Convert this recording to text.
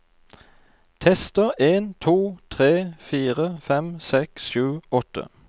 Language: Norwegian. Tester en to tre fire fem seks sju åtte